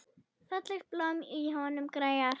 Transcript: Fallegt blóm í honum grær.